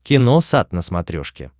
киносат на смотрешке